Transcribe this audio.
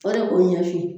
Fɔ de k'o ɲɛ f'i ye